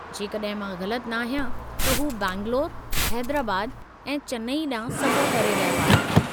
जेकड॒हिं मां ग़लत नाहियां त हू बैंगलोरु, हैदराबाद ऐं चेन्नई ॾांहुं सफ़रु करे रहियो आहे।